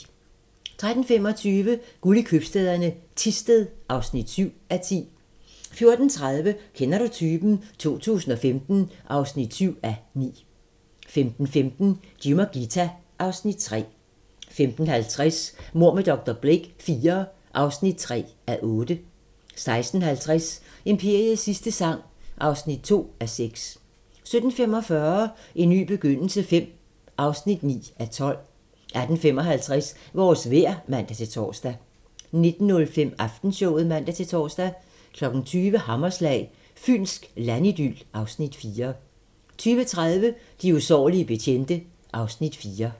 13:25: Guld i købstæderne - Thisted (7:10) 14:30: Kender du typen? 2015 (7:9) 15:15: Jim og Ghita (Afs. 3) 15:50: Mord med dr. Blake IV (3:8) 16:50: Imperiets sidste sang (2:6) 17:45: En ny begyndelse V (9:12) 18:55: Vores vejr (man-tor) 19:05: Aftenshowet (man-tor) 20:00: Hammerslag - Fynsk landidyl (Afs. 4) 20:30: De usårlige betjente (Afs. 4)